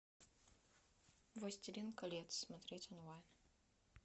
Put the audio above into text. властелин колец смотреть онлайн